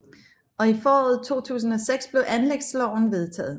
Og i foråret 2006 blev anlægsloven vedtaget